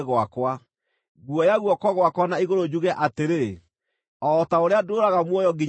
Nguoya guoko gwakwa na igũrũ njuge atĩrĩ: O ta ũrĩa ndũũraga muoyo nginya tene,